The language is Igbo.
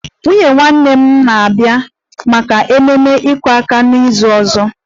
Nwunye nwanne m nwanyị ga-abịa maka ememe 'iku aka' n'izu ọzọ